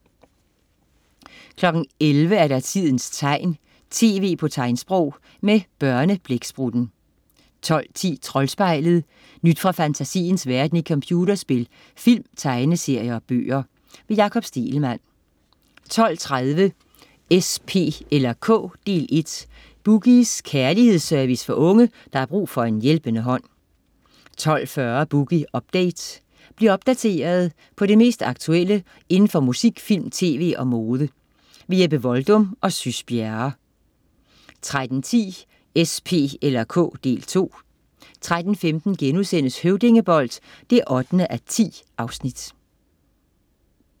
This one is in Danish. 11.00 Tidens tegn, tv på tegnsprog. Med Børneblæksprutten 12.10 Troldspejlet. Nyt fra fantasiens verden i computerspil, film, tegneserier og bøger. Jakob Stegelmann 12.30 S, P eller K, del 1. "Boogies" kærlighedsservice for unge, der har brug for en hjælpende hånd 12.40 Boogie Update. Bliv opdateret på det mest aktuelle inden for musik, film, tv og mode. Jeppe Voldum og Sys Bjerre 13.10 S, P eller K, del 2 13.15 Høvdingebold 8:10*